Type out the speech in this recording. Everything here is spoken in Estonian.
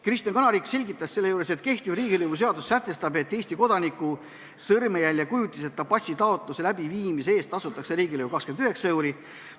Kristen Kanarik selgitas, et kehtiv riigilõivuseadus sätestab, et Eesti kodaniku sõrmejäljekujutiseta passi taotluse läbivaatamise eest tasutakse riigilõivu 29 eurot.